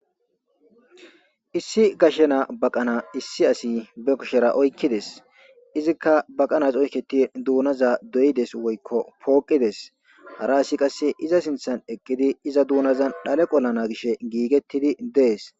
Issi gashena baqana issi asi be kushera oykkides izikka baqanas oyketi duunaza doyides woykko pooqides hara asi qasse iza sinthan eqqidi iza duunazan dhale qollana gish giigettidi dees.